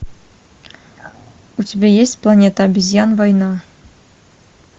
у тебя есть планета обезьян война